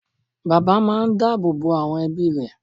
Bàbá máa n dá àbò bo àwọn ebí rẹ̀